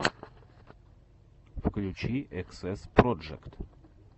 включи эксэс проджект